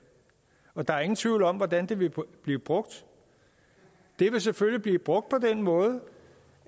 og der er ingen tvivl om hvordan det vil blive brugt det vil selvfølgelig blive brugt på den måde